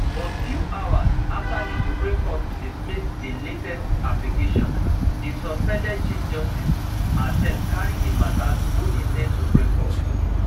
but few hours afta di supreme court dismiss di latest application di suspended chief justice herself carry di mata go di same supreme court